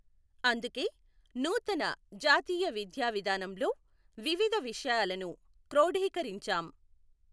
అందుకే నూతన జాతీయ విద్యావిధానంలో వివిధ విషయాలను క్రోఢీకరించాం.